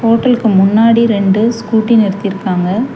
ஹோட்டலுக்கு முன்னாடி ரெண்டு ஸ்கூட்டி நிறுத்திருக்கிறாங்க.